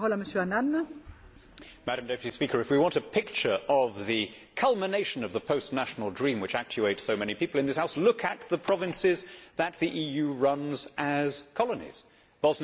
Madam President, if we want a picture of the culmination of the post national dream which actuates so many people in this House, look at the provinces that the EU runs as colonies Bosnia and above all, Kosovo.